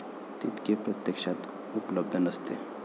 तितके प्रत्यक्षात उपलब्ध नसते.